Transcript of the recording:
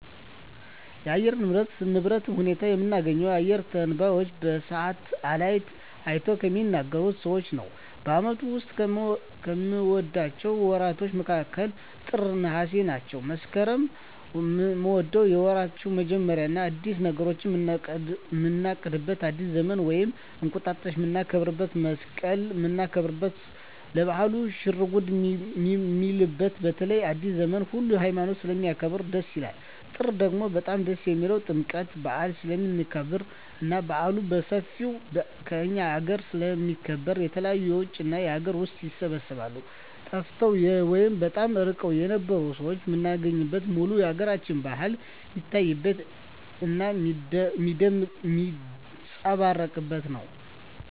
የአየር ንብረቶች ንብረት ሁኔታ የምናገኘው አየረ ተነባዩች በሳሀትአላይት አይተው ከሚናገሩት ሰዎች ነው በአመቱ ዉስጥ ከምወዳቸው ወራቶች መስከረም ጥር ነሃሴ ናቸው መስከረምን ምወደው የወራቶች መጀመሪያ አዳዲስ ነገሮችን ምናቅድበት አዲስ ዘመንን ወይም እንቁጣጣሽ ምናከብረው መሰቀልን ምናከብርበት ሰው ለባህሉ ሽርጉድ ሚልበት በተለይ አዲሰ ዘመንን ሁሉ ሀይማኖት ስለሚያከብር ደስ ይላል ጥር ደግሞ በጣም ደስ የሚልኝ ጥምቀት በአል ስለሚከበር እና በአሉ በሠፌው ከእኛ አገረ ስለሚከበር የተለያዩ የውጭ እና የአገር ውስጥ ይሰባሰባሉ ጠፍተው ወይም በጣም እርቀዉን የነበሩ ሠዎች ምናገኝበት ሙሉ የአገራችን በአል ሜታይበት እና ሜጸባረቅበት ነው